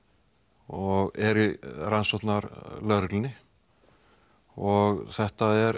og er í rannsóknarlögreglunni og þetta er